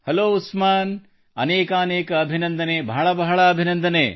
hello Usman ಅನೇಕಾನೇಕ ಅಭಿನಂದನೆ ಬಹಳ ಬಹಳ ಅಭಿನಂದನೆ